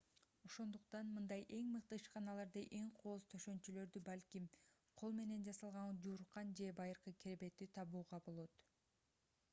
ошондуктан мындай эң мыкты ишканаларда эң кооз төшөнчүлөрдү балким кол менен жасалган жууркан же байыркы керебетти табууга болот